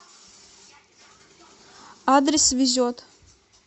адрес везет